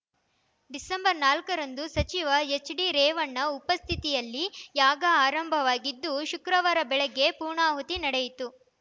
December ನಾಲ್ಕ ರಂದು ಸಚಿವ ಎಚ್‌ಡಿರೇವಣ್ಣ ಉಪಸ್ಥಿತಿಯಲ್ಲಿ ಯಾಗ ಆರಂಭವಾಗಿದ್ದು ಶುಕ್ರವಾರ ಬೆಳಗ್ಗೆ ಪೂರ್ಣಾಹುತಿ ನಡೆಯಿತು